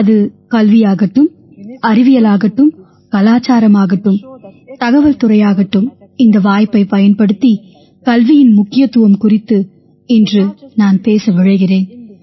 அது கல்வியாகட்டும் அறிவியலாகட்டும் கலாச்சாரம் ஆகட்டும் தகவல் துறையாகட்டும் இந்த வாய்ப்பைப் பயன்படுத்தி கல்வியின் முக்கியத்துவம் குறித்து இன்று நான் பேச விழைகிறேன்